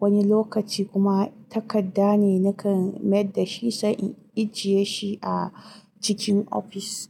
wani lokaci kuma takadda ne nakan mayar da shi sani ajiye shi a cikin ofis.